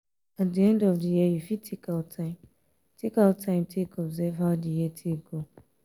at di end of di year you fit take out time take out time take observe how di year take go